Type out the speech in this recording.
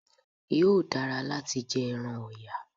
Yóò dara láti jẹ ẹran ọ̀yà